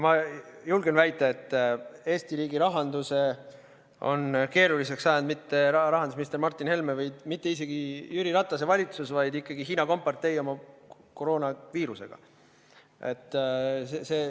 Ma julgen väita, et Eesti riigi rahanduse on keeruliseks ajanud mitte rahandusminister Martin Helme ega mitte isegi Jüri Ratase valitsus, vaid ikkagi Hiina kompartei koroonaviirusega.